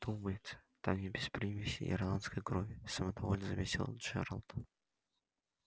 думается там не без примеси ирландской крови самодовольно заметил джералд